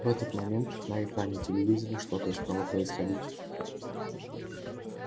в этот момент на экране телевизора что-то стало происходить